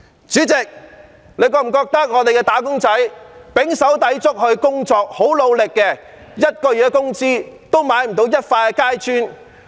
主席，大家有否覺得我們的"打工仔"胼手胝足、努力地工作，但每月工資也買不到一塊階磚？